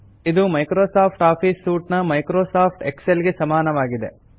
ಇದು Microsoft office suite ನ Microsoft Excel ಗೆ ಸಮಾನವಾಗಿದೆ